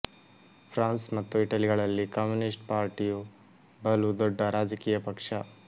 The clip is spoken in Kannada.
ಫ್ರಾನ್ಸ್ ಮತ್ತು ಇಟಲಿಗಳಲ್ಲಿ ಕಮ್ಯೂನಿಸ್ಟ್ ಪಾರ್ಟಿಯು ಬಲು ದೊಡ್ಡ ರಾಜಕೀಯ ಪಕ್ಷ